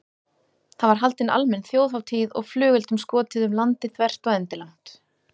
Það var haldin almenn þjóðhátíð og flugeldum skotið um landið þvert og endilangt.